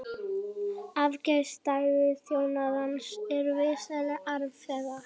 Efnahagsaðstæður þjóðarinnar eru vissulega erfiðar